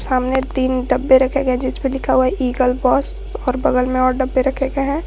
सामने तीन डब्बे रखे गए हैं जिसपे लिखा है ईगल बॉस और बगल में और डब्बे रखे गए हैं।